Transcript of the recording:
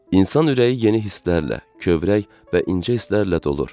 İnsan ürəyi yeni hisslərlə, kövrək və incə hisslərlə dolur.